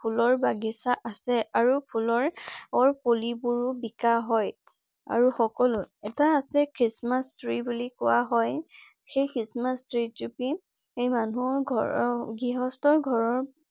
ফুলৰ বাগিচা আছে। আৰু ফুলৰ পুলিবোৰো বিকাঁ হয়। আৰু সকলো এটা আছে christmass tree বুলি কোৱা হয়। সেই christmass tree জুপি সেই মানুহৰ ঘৰৰ গৃহস্থৰ ঘৰৰ